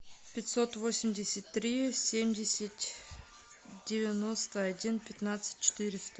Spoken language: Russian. пятьсот восемьдесят три семьдесят девяносто один пятнадцать четыреста